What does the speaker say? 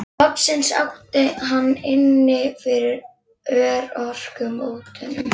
Loksins átti hann inni fyrir örorkubótunum.